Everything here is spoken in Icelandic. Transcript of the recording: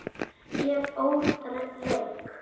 Ég óð reyk.